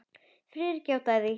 Friðrik játaði því.